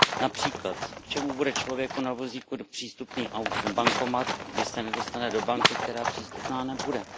Například K čemu bude člověku na vozíku přístupný bankomat, když se nedostane do banky, která přístupná nebude?